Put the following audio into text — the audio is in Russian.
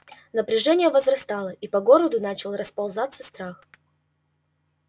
напряжение возрастало и по городу начал расползаться страх